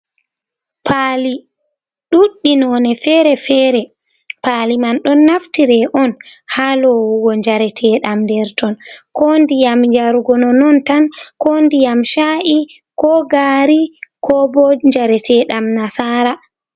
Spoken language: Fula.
Pali ɗuɗɗi none fere-fere, pali man ɗon naftire on ha lowugo jareteɗam nder ton, ko ndiyam yarugo no non tan, ko ndiyam sha’i, ko gari, ko bo jareteɗam nasara.